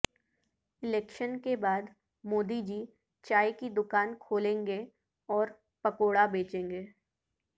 election کے بعد مودی جی چائے کی دکان کھولیں گے اور پکوڑا بیچیں گے